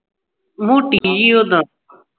ਮੋਟੀ ਜੀ ਉਦਾਂ